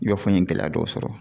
Yɔrɔ n ye gɛlɛya dɔw sɔrɔ